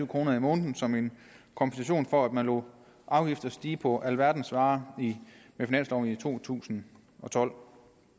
kroner om måneden som en kompensation for at man lod afgifter stige på alverdens varer med finansloven i to tusind og tolv